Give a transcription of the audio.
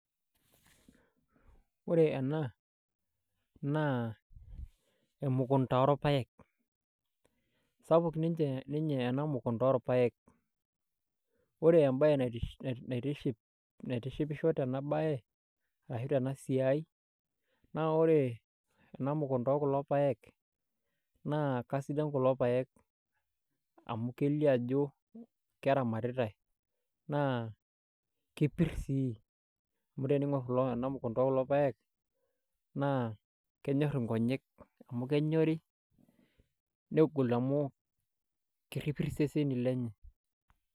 Ore ena naa emukunta orpaek sapuk ninye ena mukunta orpaek ore embaye naitishipisho tena siai naa ore ena mukunta oo kulo orpaek naa kasidan kulo paek amu kelioo ajo keramatitai naa kepirr sii amu teniingorr ena mukunta ekulo paek naa kenyorr nkonyek amu kenyori negol amu kepir iseseni lenye.